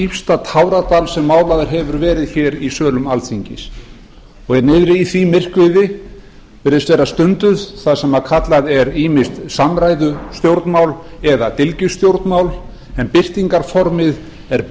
dýpsta táradal sem málaður hefur verið hér í sölum alþingis niðri í því myrkviði virðist vera stunduð það sem kallað er ýmist samræðustjórnmál eða dylgjustjórnmál en birtingarformið er